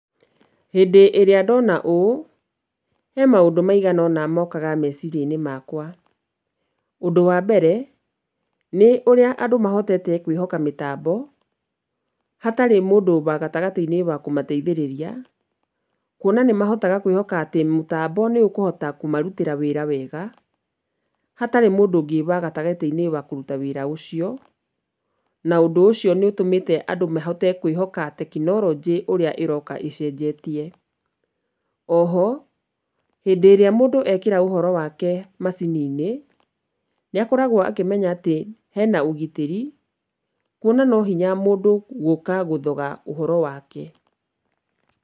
Hĩndĩ ĩrĩa ndona ũũ, he maũndũ maigana ũna mokaga meciria-inĩ makwa, ũndũ wa mbere, nĩ ũrĩa andũ mahotete kwĩhoka mĩtambo, hatarĩ mũndũ wa gatagatĩ-inĩ wa kũmateithĩrĩria, kuona nĩ mahotaga kwĩhoka atĩ mũtambo nĩ ũkũhota kũmarutĩra wĩra wega, hatarĩ mũndũ ũngĩ wa gatagatĩ-inĩ wa kũruta wĩra ũcio, na ũndũ ũcio nĩ ũtũmĩte andũ mahote kwĩhoka tekonironjĩ ũrĩa ĩroka ĩcenjetie. Oho, hĩndĩ ĩrĩa mũndũ ekĩra ũhoro wake macini-inĩ, nĩ akoragwo akĩmenya atĩ hena ũgitĩri, kuona no hinya mũndũ gũka gũthoga ũhoro wake.